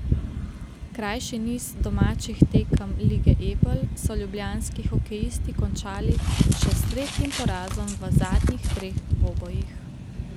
Krajši niz domačih tekem lige Ebel so ljubljanski hokejisti končali še s tretjim porazom v zadnjih treh dvobojih.